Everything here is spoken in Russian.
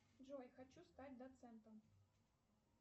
джой хочу стать доцентом